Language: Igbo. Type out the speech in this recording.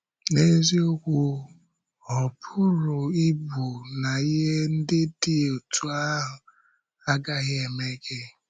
N’eziokwu, ọ̀ pụrụ ịbụ na ihe ndị dị otú ahụ agaghị emee gị.